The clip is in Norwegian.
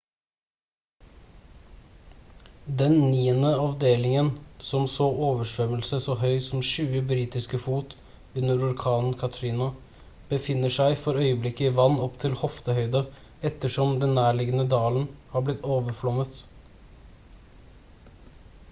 den niende avdelingen som så oversvømmelse så høy som 20 britiske fot under orkanen katrina befinner seg for øyeblikket i vann opp til hoftehøyde ettersom den nærliggende dalen har blitt overflommet